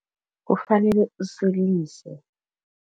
Kufanele usilise.